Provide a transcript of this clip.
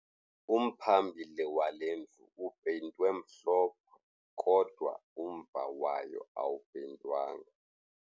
Umphambili wale ndlu upeyintwe mhlophe kodwa umva wayo awupeyintwanga.